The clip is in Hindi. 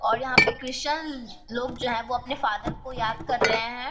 और यहाँ पे कृशन लोग जो हैं वो अपने फादर को याद कर रहे हैं।